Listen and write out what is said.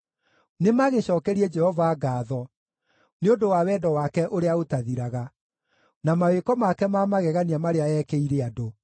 Nĩmagĩcookerie Jehova ngaatho nĩ ũndũ wa wendo wake ũrĩa ũtathiraga, na mawĩko make ma magegania marĩa eekĩire andũ,